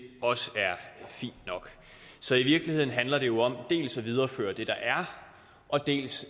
også er fint nok så i virkeligheden handler det jo dels om at videreføre det der er dels